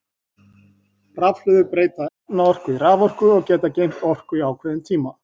Rafhlöður breyta efnaorku í raforku og geta geymt orku í ákveðin tíma.